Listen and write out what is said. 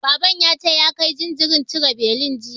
Baban ya ce ya kai jinjirin cire beli, jiya.